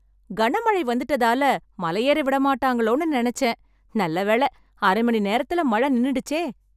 கனமழை வந்துட்டதால, மலையேற விடமாட்டாங்களோன்னு நெனச்சேன்... நல்லவேள அரைமணி நேரத்துல மழை நின்னுடுச்சே...